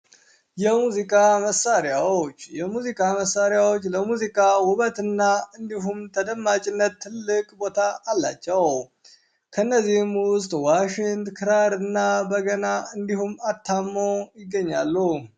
የሙዚቃ መሳሪያዎች፤ የሙዚቃ መሳሪያዎች ለሙዚቃ ውበት እና እንዲሁም ተደማጭነት ትልቅ ቦታ አላቸው። ከነዚህም ውስጥ ዋሽንት፣ ክራር እና በገና እንዲሁም አታሞ ይገኛሉ።